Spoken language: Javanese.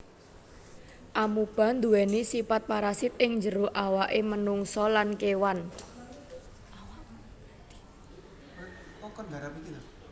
Amoeba nduwèni sipat parasit ing jero awaké manungsa lan kéwan